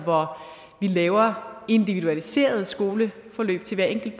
hvor vi laver individualiserede skoleforløb til hver enkelt